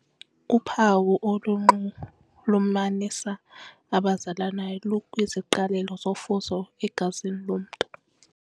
Uphawu olunxulumanisa abazalanayo lukwiziqalelo zofuzo egazini lomntu.